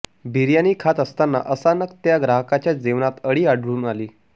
बिर्याणी खात असताना अचानक त्या ग्राहकाच्या जेवणात अळी आढळून आली